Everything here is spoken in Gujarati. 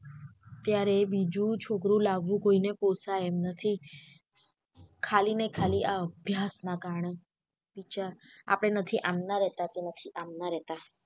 ત્યારે બીજું છોકરું લાવું કોઈને પોસાય એમ નથી ખાલી ને ખાલી આ અભ્યાસ ના કારણે આપળે નથી આમના રહેતા કે નથી આમના રહેતા.